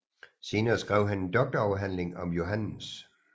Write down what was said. Senere skrev han en doktorafhandling om Johannes